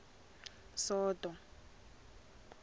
soto